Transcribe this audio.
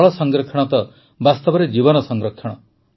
ଜଳ ସଂରକ୍ଷଣ ତ ବାସ୍ତବରେ ଜୀବନ ସଂରକ୍ଷଣ